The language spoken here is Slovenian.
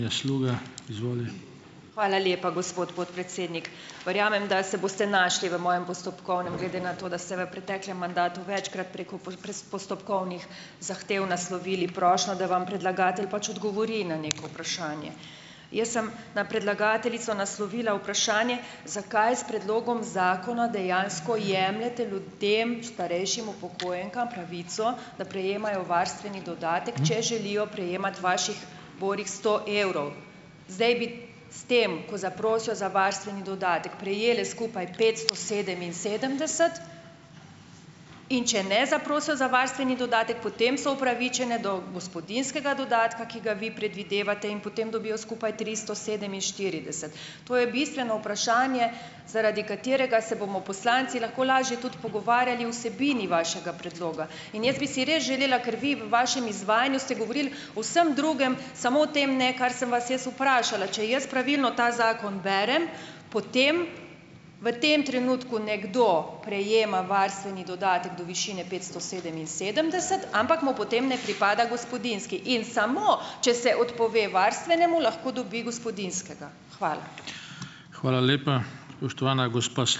Hvala lepa, gospod podpredsednik. Verjamem, da se boste našli v mojem postopkovnem, glede na to, da ste v preteklem mandatu večkrat preko postopkovnih zahtev naslovili prošnjo, da vam predlagatelj pač odgovori na neko vprašanje. Jaz sem na predlagateljico naslovila vprašanje, zakaj s predlogom zakona dejansko jemljete ljudem, starejšim upokojenkam pravico, da prejemajo varstveni dodatek, če želijo prejemati vaših borih sto evrov. Zdaj bi s tem, ko zaprosijo za varstveni dodatek prejele skupaj petsto sedeminsedemdeset, in če ne zaprosijo za varstveni dodatek, potem so opravičene do gospodinjskega dodatka, ki ga vi predvidevate, in potem dobijo skupaj tristo sedeminštirideset. To je bistveno vprašanje, zaradi katerega se bomo poslanci lahko lažje tudi pogovarjali o vsebini vašega predloga. In jaz bi si res želela, ker vi v vašem izvajanju ste govorili o vsem drugem, samo o tem ne, kar sem vas jaz vprašala. Če jaz pravilno ta zakon berem, potem v tem trenutku nekdo prejema varstveni dodatek do višine petsto sedeminsedemdeset, ampak mu potem ne pripada gospodinjski in samo, če se odpove varstvenemu lahko dobi gospodinjskega. Hvala.